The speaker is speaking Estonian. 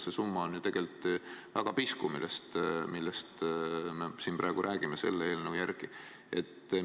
See summa on ju tegelikult väga pisku, millest me siin praegu selle eelnõu järgi räägime.